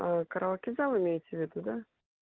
ээ караоке зал имеете в виду да